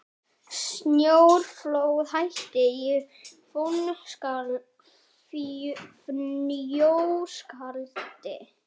Snjóflóðahætta í Fnjóskadal